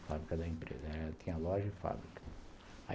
A fábrica da empresa, ela tinha loja e fábrica.